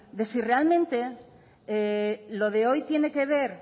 de si realmente lo de hoy tienen que ver